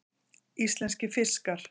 Íslenskir fiskar.